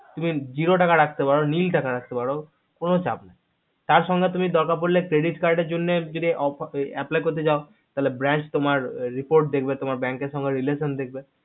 তুমি zerro টাকা রাখতে পারো nil টাকা রাখতে পারো কোনো চাপ নাই তার সঙ্গে তুমি দরকার পড়লে credit card এর জন্য apply করতে চাও তালে bank তোমার report দেখবে bank এর সঙ্গে relation দেখবে